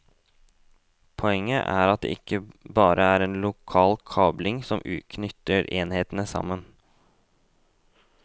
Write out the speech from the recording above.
Poenget er at det ikke bare er lokal kabling som knytter enhetene sammen.